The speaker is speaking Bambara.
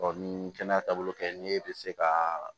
ni kɛnɛya taabolo kɛ ni e bɛ se ka